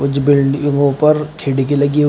कुछ बिल्डिंगो पर खिड़की लगी--